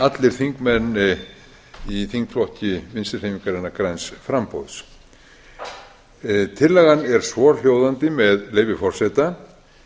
allir þingmenn í þingflokki vinstri hreyfingarinnar græns framboðs tillagan er svohljóðandi með leyfi forseta